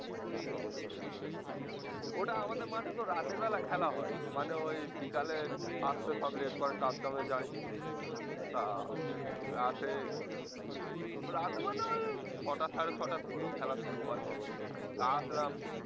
ওটা আমাদের মাঠে তো রাতের বেলা খেলা হয়, মানে ওই বিকালে